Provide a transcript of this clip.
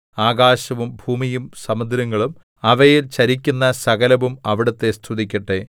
ആകാശവും ഭൂമിയും സമുദ്രങ്ങളും അവയിൽ ചരിക്കുന്ന സകലവും അവിടുത്തെ സ്തുതിക്കട്ടെ